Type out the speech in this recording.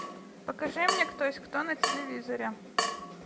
покажи мне кто есть кто на телевизоре